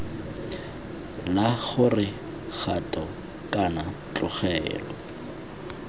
la gore kgato kana tlogelo